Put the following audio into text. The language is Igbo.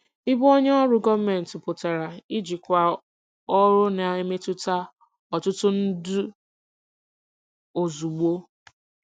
Ịbụ onye ọrụ gọọmentị pụtara ijikwa ọrụ na-emetụta ọtụtụ ndụ ozugbo.